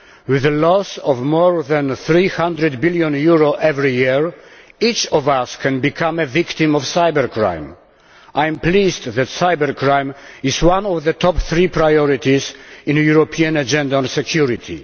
with the loss of more than EUR 300 billion every year, each of us can become a victim of cybercrime. I am pleased to see that cybercrime is one of the top three priorities in the European Agenda on Security.